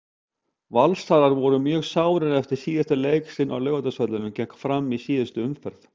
Valsarar voru mjög sárir eftir síðasta leik sinn á Laugardalsvelli gegn Fram í síðustu umferð.